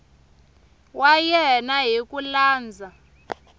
wa yena hi ku landza